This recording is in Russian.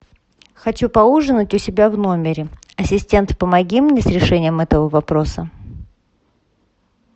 хочу поужинать у себя в номере ассистент помоги мне с решением этого вопроса